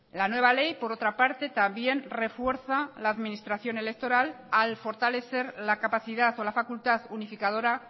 la nueva ley por otra parte también refuerza la administración electoral al fortalecer la capacidad o la facultad unificadora